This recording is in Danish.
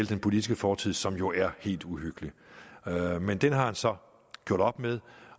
den politiske fortid som jo er helt uhyggelig men den har han så gjort op med